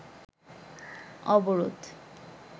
অবরোধ